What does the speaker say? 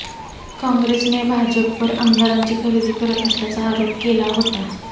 काँग्रेसने भाजपवर आमदारांची खरेदी करत असल्याचा आरोप केला होता